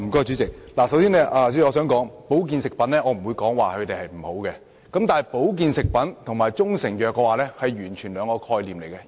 主席，首先，我不會說保健食品不好，但保健食品和中成藥完全是兩種概念。